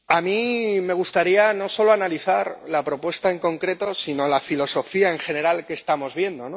Señora presidenta, a mí me gustaría no solo analizar la propuesta en concreto sino la filosofía en general que estamos viendo.